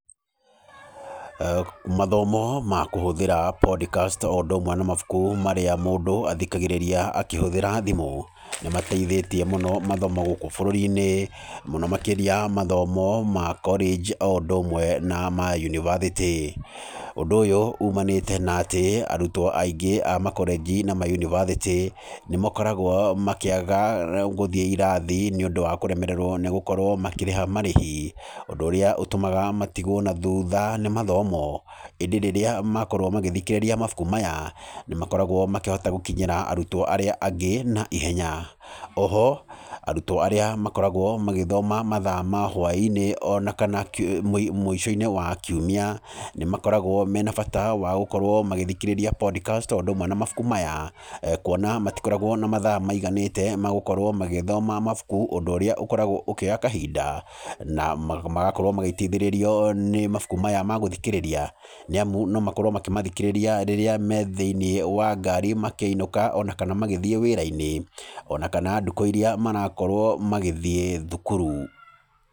Mathomo ma kũhũthĩra Podcasts o ũndũ ũmwe na mabuku marĩa mũndũ athĩkagĩrĩria akĩhũthĩra thimũ nĩ mateithĩtie mũno mathomo gũkũ bũrũri-inĩ, mũno makĩrĩa mathomo ma college, o ũndũ ũmwe na ma yunibathĩtĩ. Ũndũ ũyũ ũmanĩte na atĩ, arutwo aingĩ a makolenji na mayunibathĩtĩ, nĩ makoragwo makĩaga gũthiĩ irathi, nĩ ũndũ wa kũremererwo nĩ gũkorwo makĩrĩha marĩhi, ũndũ ũrĩa ũtũmaga matigwo na thutha nĩ mathomo. ĩndĩ rĩrĩa makorwo magĩthikĩrĩria mabuku maya nĩ makoragwo makĩhota gũkinyĩra arutwo arĩa angĩ na ihenya. Oho arutwo arĩa makoragwo magĩthoma mathaa ma hwainĩ, ona kana mũico-inĩ wa kiumia, nĩ makoragwo mena bata wa gũkorwo magĩthikĩrĩria podcast o ũndũ ũmwe na mabuku maya, kũona matikoragwo na mathaa maiganĩte ma gũkorwo magĩthoma mabuku ũndũ ũrĩa ũkoragwo ũkĩoya kahinda, na magakorwo magĩteithĩrĩrio nĩ mabuku maya ma gũthikĩrĩria, nĩ amu no makorwo makĩmathikĩrĩria rĩrĩa me thĩiniĩ wa ngari makĩinũka, ona kana magĩthiĩ wĩra-inĩ, ona kana dukũ irĩa marakorwo magĩthiĩ thukuru.